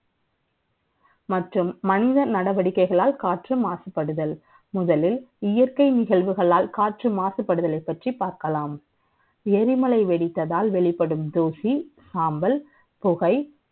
மற்றும் மனித நடவடிக்கைகளால் காற்று மாசுபடுதல் முதலில் இயற்கை நிகழ்வுகளால் காற்று மாசுபடுதலை பற்றி பார்க்கலாம் எரிமலை வெடித்ததால் வெளிப்படும் தூசி சாம்பல் புகை